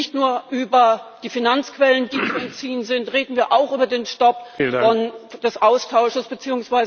Reden wir nicht nur über die Finanzquellen, die zu entziehen sind, reden wir auch über den Stopp des Austauschs bzw.